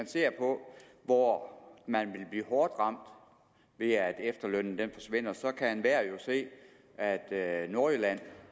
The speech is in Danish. ser på hvor man vil blive hårdt ramt ved at efterlønnen forsvinder så kan enhver jo se at at nordjylland